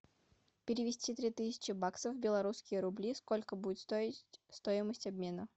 перевести три тысячи баксов в белорусские рубли сколько будет стоить стоимость обмена